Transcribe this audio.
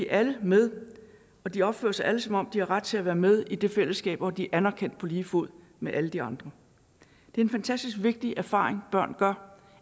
alle med og de opfører sig alle som om de har ret til at være med i det fællesskab hvor de er anerkendt på lige fod med alle de andre det er en fantastisk vigtig erfaring børn gør